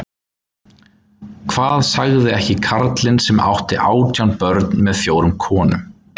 Hvað sagði ekki karlinn sem átti átján börn með fjórum konum